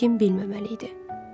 Heç kim bilməməli idi.